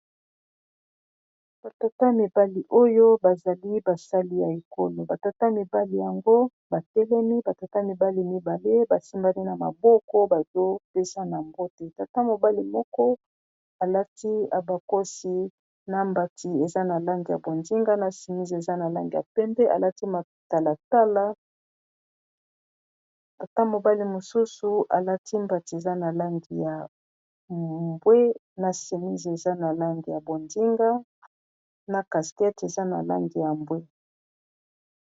batata mibali oyo bazali basali ya ekolo batata mibali yango batelemi batata mibali mibale basimbani na maboko bazopesa na mbote tata mobali moko alati abakosi na mbati eza na lange ya bondinga na simis eza na lange ya pende alati matalatala tata mobali mosusu alati mbati eza na langi ya mbwe na simis eza na lange ya bonzinga na caskete eza na lange ya mbwe